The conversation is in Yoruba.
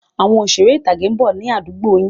Àwọn Òṣeré ìtàgé ń bọ̀ ni àdúgbò yìí